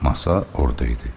Masa orda idi.